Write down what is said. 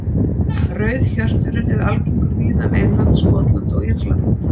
Rauðhjörturinn er algengur víða um England, Skotland og Írland.